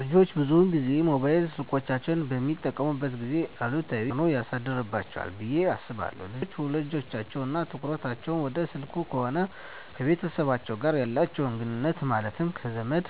ልጆች ብዙን ጊዜ ሞባይል ስልኮችን በሚጠቀሙበት ጊዜ አሉታዊ ተፅዕኖ ያሳድርባቸዋል ብየ አስባለው ልጆች ውሎቸው እና ትኩረታቸውን ወደ ስልክ ከሆነ ከቤተሰቦቻቸው ጋር ያላቸውን ግኑኙነት ማለትም ከዘመድ፣